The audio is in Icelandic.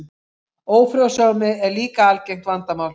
Ófrjósemi er líka algengt vandamál.